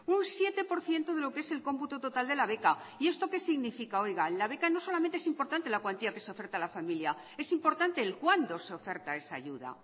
un siete por ciento de lo que es el cómputo total de la beca y esto que significa la beca no solamente es importante la cuantía que se oferta a la familia es importante el cuándo se oferta esa ayuda